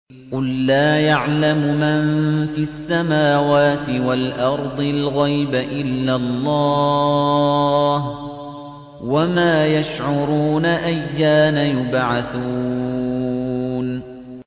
قُل لَّا يَعْلَمُ مَن فِي السَّمَاوَاتِ وَالْأَرْضِ الْغَيْبَ إِلَّا اللَّهُ ۚ وَمَا يَشْعُرُونَ أَيَّانَ يُبْعَثُونَ